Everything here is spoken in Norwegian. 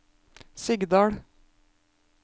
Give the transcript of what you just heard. Sigdal